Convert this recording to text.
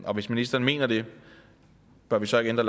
og hvis ministeren mener det bør vi så ikke ændre